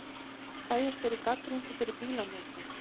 Bæjarstjóri gagnrýndur fyrir bílanotkun